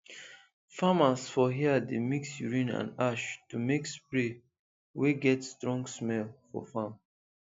farmers for here dey mix urine and ash to make spray wey get strong smell for farm